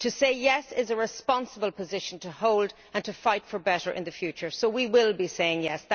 To say yes' is a responsible position to hold and to fight for better in the future, so we will be saying yes'.